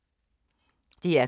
DR K